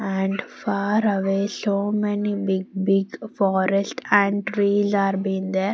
And far away so many big big forest and trees are being there.